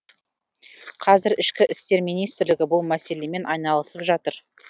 қазір ішкі істер министрлігі бұл мәселемен айналысып жатыр